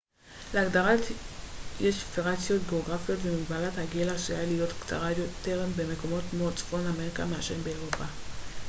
להגדרה יש וריאציות גאוגרפיות ומגבלת הגיל עשויה להיות קצרה יותר במקומות כמו צפון אמריקה מאשר באירופה